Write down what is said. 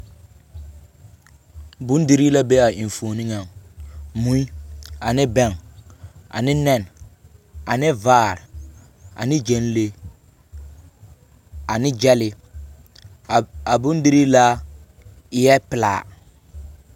Bondirii la be a enfuoni ŋaŋ, mui ane bԑŋ ane nԑne ane vaare ane gyԑnlee ane gyԑlee a bondirii laa eԑԑ pelaa.